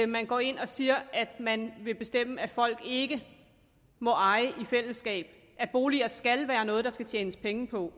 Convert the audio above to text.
man går ind og siger at man vil bestemme at folk ikke må eje i fællesskab at boliger skal være noget der skal tjenes penge på